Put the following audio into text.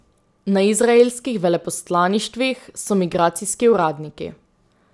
Na izraelskih veleposlaništvih so migracijski uradniki.